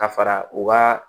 Ka fara u ka